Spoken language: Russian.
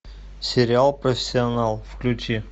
сериал профессионал включи